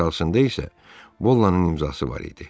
Aşağısında isə Bollanın imzası var idi.